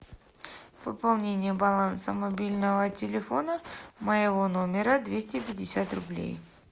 пополнение баланса мобильного телефона моего номера двести пятьдесят рублей